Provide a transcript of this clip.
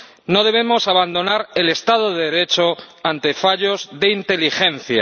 No debemos abandonar el Estado de Derecho ante fallos de inteligencia.